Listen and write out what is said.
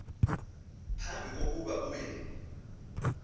phambi kokuba uye